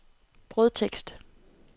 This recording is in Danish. brødtekst